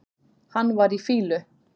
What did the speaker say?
Hann var í fýlu.